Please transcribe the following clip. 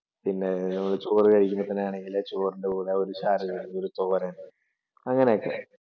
പിന്നെ ചോറ് കഴിക്കുന്ന സമയമാണെങ്കിൽ തന്നെ ചോറിൻ്റെ കൂടെ ഒരു ശകലം തോരൻ അങ്ങനൊക്കെ.